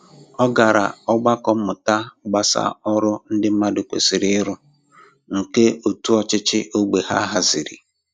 Ọ gara ogbako mmụta gbasà ọrụ ndị mmadụ kwesịrị ịrụ, nke òtù ọchịchị ógbè ha haziri.